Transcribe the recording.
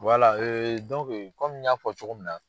Wala kɔmi n y'a fɔ cogo min na